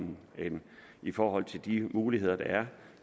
i forhold til de muligheder der er